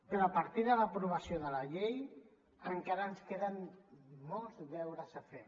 però a partir de l’aprovació de la llei encara ens queden molts deures a fer